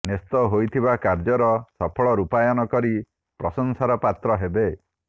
ନ୍ୟସ୍ତ ହୋଇଥିବା କାର୍ଯ୍ୟର ସଫଳ ରୂପାୟନ କରି ପ୍ରଶଂସାର ପାତ୍ର ହେବେ